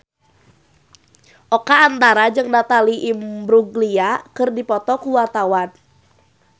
Oka Antara jeung Natalie Imbruglia keur dipoto ku wartawan